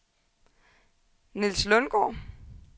Niels Lundgaard